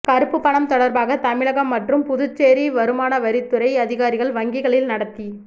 கருப்பு பணம் தொடர்பாக தமிழகம் மற்றும் புதுச்சேரி வருமானவரித்துறை அதிகாரிகள் வங்கிகளில் நடத்தி